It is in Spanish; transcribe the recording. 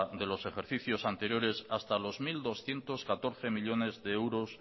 de los ejercicios anteriores hasta los mil doscientos catorce millónes de euros